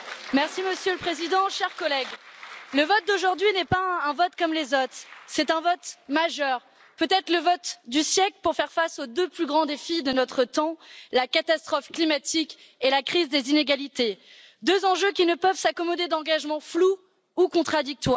Monsieur le Président, chers collègues, le vote d'aujourd'hui n'est pas un vote comme les autres, c'est un vote majeur, peut être le vote du siècle pour faire face aux deux plus grands défis de notre temps la catastrophe climatique et la crise des inégalités, deux enjeux qui ne peuvent s'accommoder d'engagements flous ou contradictoires.